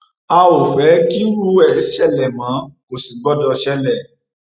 a ò fẹ kírú ẹ ṣẹlẹ mọ kò sì gbọdọ ṣẹlẹ